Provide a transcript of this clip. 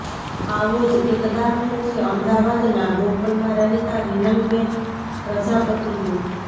આવો જ એક દાખલો છે અમદાવાદના બોપલમાં રહેતા રીનલબેન પ્રજાપતિનો